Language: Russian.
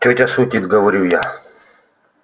тётя шутит говорю я